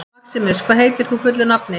Maximus, hvað heitir þú fullu nafni?